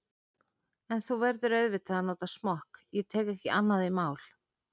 En þú verður auðvitað að nota smokk, ég tek ekki annað í mál.